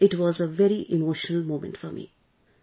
"... it was a very emotional moment for me